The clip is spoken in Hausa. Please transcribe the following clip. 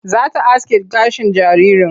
Za ta aske gashin jaririn.